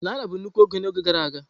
Naira bụ nnukwu ego na oge gara aga.